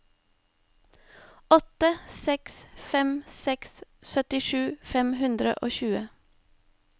åtte seks fem seks syttisju fem hundre og tjue